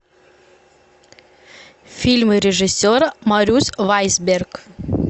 фильмы режиссера марюс вайсберг